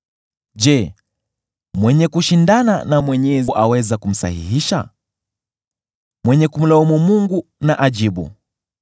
“Je, mwenye kushindana na Mwenyezi aweza kumsahihisha? Mwenye kumlaumu Mungu na ajibu.”